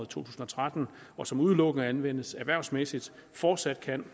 tusind og tretten og som udelukkende anvendes erhvervsmæssigt fortsat kan